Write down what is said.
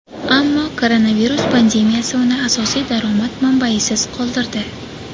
Ammo koronavirus pandemiyasi uni asosiy daromad manbayisiz qoldirdi.